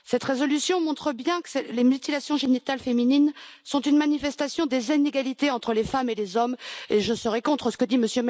Cette résolution montre bien que les mutilations génitales féminines sont une manifestation des inégalités entre les femmes et les hommes, et je serai contre ce que dit M.